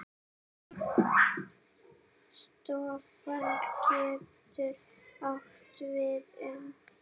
Stofn getur átt við um